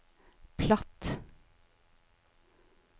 platt